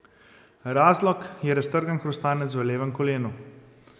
Razlog je raztrgan hrustanec v levem kolenu.